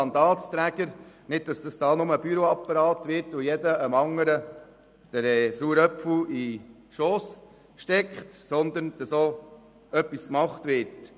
Es soll nicht nur ein Büroapparat werden, wo jeder dem anderen den sauren Apfel in den Schoss steckt, sondern es soll auch etwas gemacht werden.